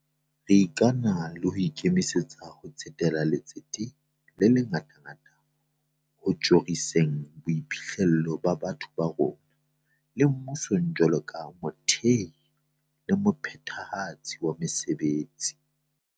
Re ikana le ho ikemisetsa ho tsetela letsete le le ngatangata ho tjhoriseng boiphihlelo ba batho ba rona, le mmusong jwalo ka mothehi le mophethahatsi wa mesebetsi.